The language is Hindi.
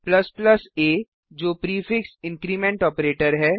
a जो prefix increment prefix increment operator है